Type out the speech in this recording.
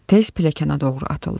Tez pilləkənə doğru atıldım.